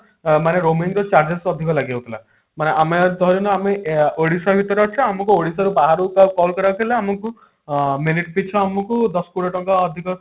ଅ ମାନେ roaming ର charges ଅଧିକ ଲାଗି ଯାଉଥିଲା ମାନେ ଆମେ ଧାର ଯଦି ଆମେ ଏ ଓଡିଶା ଭିତରେ ଅଛୁ ଆମକୁ ଓଡିଶା ରୁ ବାହାରକୁ କାହାକୁ call କରିବାକୁ ଥିଲା ଆମକୁ minute ପିଛା ଆମକୁ ଦଶ କୋଡିଏ ଟଙ୍କା ଅଧିକ